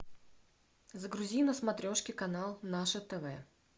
загрузи на смотрешке канал наше тв